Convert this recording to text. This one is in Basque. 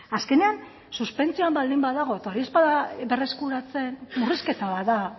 azkenean suspentsioan baldin badago eta hori ez bada berreskuratzen murrizketa bat da